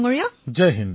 প্ৰধানমন্ত্ৰীঃ জয় হিন্দ